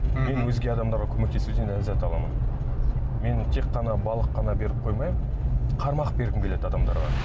мен өзге адамдарға көмектесуден ләззат аламын мен тек қана балық қана беріп қоймай қармақ бергім келеді адамдарға